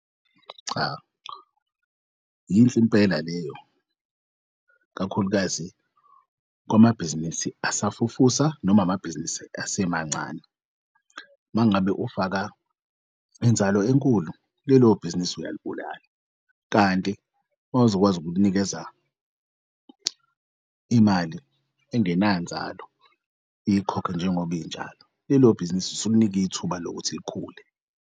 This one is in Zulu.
Cha, yinhle impela leyo, kakhulukazi kwamabhizinisi asafufusa noma amabhizinisi asemancane. Mangabe ufaka inzalo enkulu, lelo bhizinisi uyalibulala kanti mawuzokwazi ukulinikeza imali engenanzalo ikhokhe njengoba injalo lelo bhizinisi usulinika ithuba lokuthi likhule.